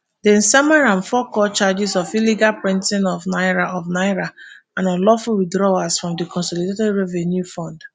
dem sama am fourcount charges of illegal printing of naira of naira and unlawful withdrawals from di consolidated revenue fund.